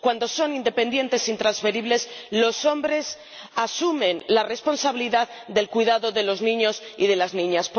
Cuando son independientes e intransferibles, los hombres asumen la responsabilidad del cuidado de los niños y de las niñas.